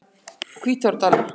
Hvítárdal